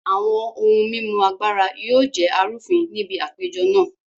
Àwọn ohun mímu Agbára yóò jẹ́ arúfin ní bi àpéjọ na